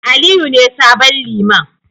Aliyu ne sabon Liman.